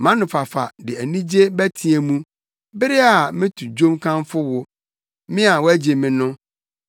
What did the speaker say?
Mʼanofafa de anigye bɛteɛ mu bere a meto dwom kamfo wo, me a woagye me no.